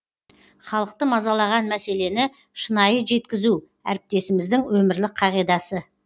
халықты мазалаған мәселені шынайы жеткізу әріптесіміздің өмірлік қағидасы